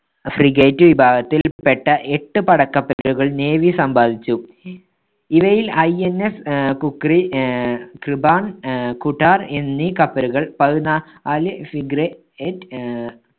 frigate വിഭാഗത്തിൽപ്പെട്ട എട്ട് പടകപ്പലുകൾ navy സമ്പാദിച്ചു. ഇവയില്‍ INS ആഹ് ഖുക്രി, ആഹ് കൃപാൺ, ആഹ് ഖുടാർ എന്നീ കപ്പലുകൾ പതിനാ~ല് frigate ആഹ്